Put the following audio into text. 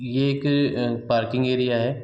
ये एक parking area है।